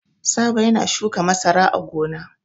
Sabo yana shukan masara a gona.